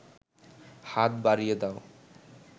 হাত বাড়িয়ে দাও